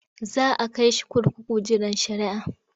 Za a kai shi kurkuku jiran shari'ah.